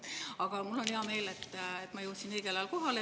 Aga mul on hea meel, et ma jõudsin õigel ajal kohale.